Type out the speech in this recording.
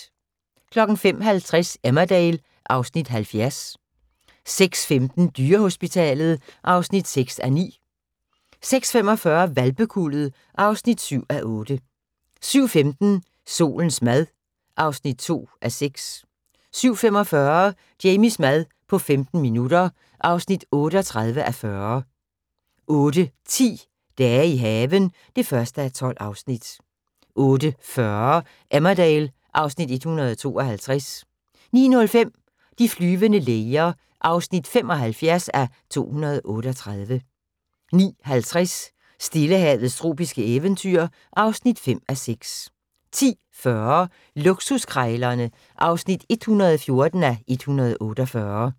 05:50: Emmerdale (Afs. 70) 06:15: Dyrehospitalet (6:9) 06:45: Hvalpekuldet (7:8) 07:15: Solens mad (2:6) 07:45: Jamies mad på 15 minutter (38:40) 08:10: Dage i haven (1:12) 08:40: Emmerdale (Afs. 152) 09:05: De flyvende læger (75:238) 09:50: Stillehavets tropiske eventyr (5:6) 10:40: Luksuskrejlerne (114:148)